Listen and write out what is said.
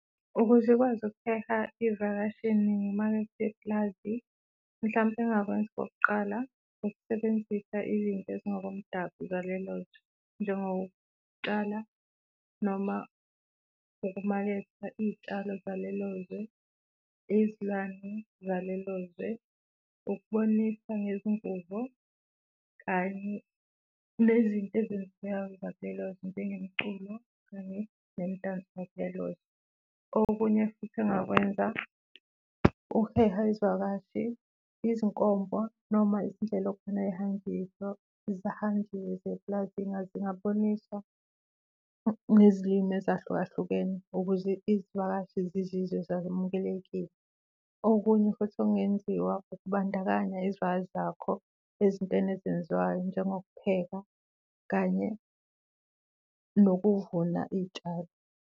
Ukuze ikwazi ukuheha iy'vakashi ngezimakethe eplazi. Mhlawumbe engingakwenza okokuqala ukusebenzisa izinto ezingokomdabu zalelo zwe njengokutshala noma nokumaketha iy'tshalo zalelo zwe, izilwane zalelo zwe, ukubonisa ngezingubo kanye nezinto ezenzekayo zakulelo zwe njengomculo kanye nemidanso yalelo zwe. Okunye futhi engingakwenza ukuheha izivakashi, izinkomo noma izindlela epulazini zingaboniswa nezilimi ezahlukahlukene ukuze izivakashi zizizwe zamukelekile. Okunye futhi okungenziwa ukubandakanya izivakashi zakho ezintweni ezenziwayo njengokupheka kanye nokuvuna iy'tshalo.